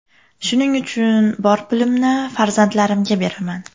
Shuning uchun bor pulimni farzandlarimga beraman.